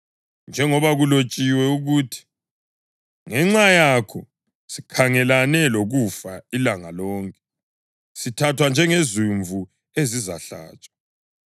Njengoba kulotshiwe ukuthi: “Ngenxa yakho, sikhangelane lokufa ilanga lonke; sithathwa njengezimvu ezizahlatshwa.” + 8.36 AmaHubo 44.22